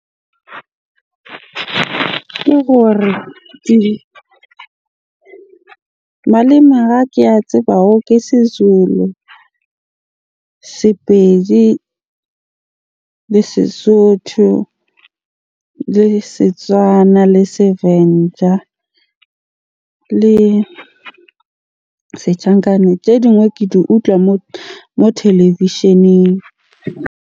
Ke gore malema ke a tsebago ke Sezulu, Sepedi, le Sesotho, le Setswana, le Sevenda le Sechangane. Tse dingwe ke di utlwa moo televisheneng.